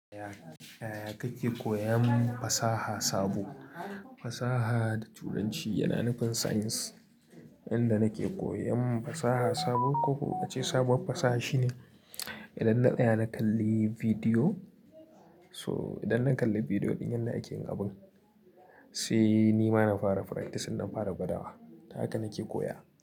Yaya kake koyan fasaha sabo? Fasaha da turanci yana nufin science. Yanda nake koyan fasaha sabo ko ko a ce sabuwar fasaha shine idan na tsaya na kalli bidiyo. So idan na kalli bidiyo ɗin yanda yake yin abun, sai ni ma na fara practice, na fara gwadawa. Ta haka nake koya.